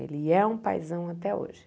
Ele é um paizão até hoje.